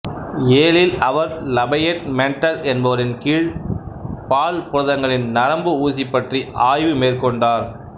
யேலில் அவர் Lafayette Mendel என்பவரின் கீழ் பால் புரதங்களின் நரம்பு ஊசி பற்றிய ஆய்வு மேற்கொண்டார்